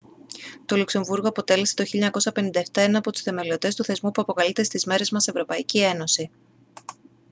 το λουξεμβούργο αποτέλεσε το 1957 έναν από τους θεμελιωτές του θεσμού που αποκαλείται στις μέρες μας εε